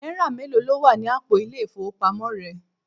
Náírà mélòó ló wà ní àpò ile-ifowopamo rẹ?